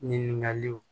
Ɲininkaliw